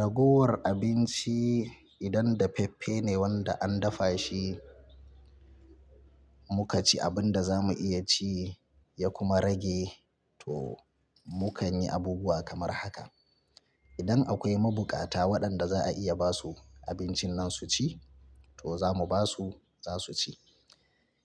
Ragowar abinci idan dafaffe ne wanda an dafa shi, muka ci abin da za mu iya ci ya kuma rage to mukan yi abubuwa kamar haka. Idan akwai mabukata waɗanda za a iya ba su abincin nan su ci to za mu ba su, za su ci.